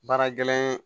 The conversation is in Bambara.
Baara gɛlɛn